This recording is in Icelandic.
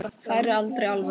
Færi aldrei alveg.